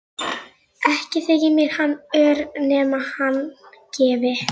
Ekki þyki mér hann ör nema hann gefi.